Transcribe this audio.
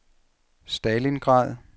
Stalingrad